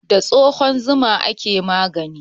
Da tsohuwar zuma ake magani.